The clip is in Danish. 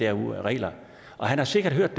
regler han har sikkert hørt